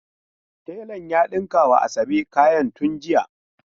Telan ya dinka ma Asabe kayan tun jiya.